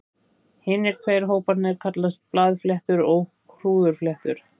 Hinir tveir hóparnir kallast blaðfléttur og hrúðurfléttur.